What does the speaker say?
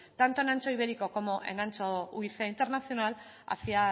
tanto en ancho ibérico como en ancho internacional hacia